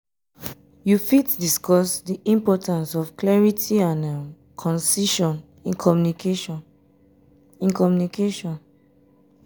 you fit discuss di importance um of clarity and um concision um in communication. um in communication.